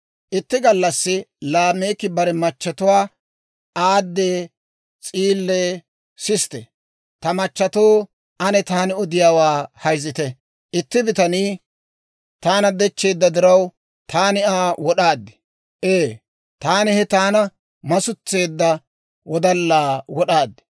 Itti gallassi Laameeki bare machchetuwaa, «Aadee, S'iilee, sisite; ta machattoo, ane taani odiyaawaa hayzitte. Itti bitanii taana dechcheedda diraw, taani Aa wod'aad; ee, taani he taana masuntseedda wodallaa wod'aad.